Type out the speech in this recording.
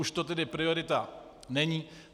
Už to tedy priorita není.